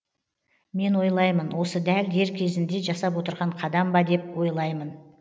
мен ойлаймын осы дәл дер кезінде жасап отырған қадам ба деп ойлаймын